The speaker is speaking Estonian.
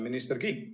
Minister Kiik!